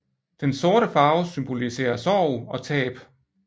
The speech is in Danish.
Den sorte farve symboliserer sorg og tab